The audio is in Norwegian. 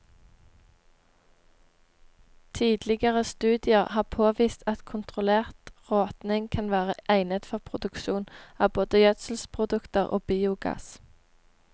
Tidligere studier har påvist at kontrollert råtning kan være egnet for produksjon av både gjødselprodukter og biogass.